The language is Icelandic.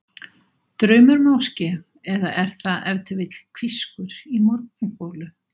Draumur máske, eða er það ef til vill hvískur í morgungolu?